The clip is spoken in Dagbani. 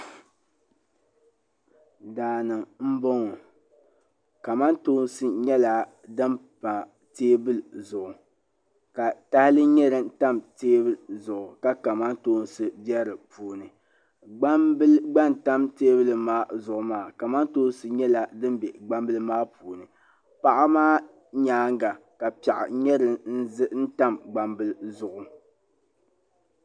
Daani n boŋɔ kamatoosi nyɛla din pa teebuli zuɣu ka tahali nyɛ din tam teebuli zuɣu ka kamantoosi be di puuni gbambila gba n tam teebuli maa zuɣu maa kamatoosi nyɛla din be gbambila maa puuni paɣa maa nyaanga ka piaɣu nyɛ din tam gbambila zuɣu.